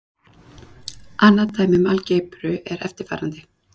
Annað dæmi um algebru er eftirfarandi.